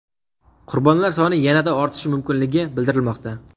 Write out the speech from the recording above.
Qurbonlar soni yanada ortishi mumkinligi bildirilmoqda.